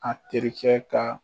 A terikɛ ka